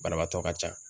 Banabaatɔ ka ca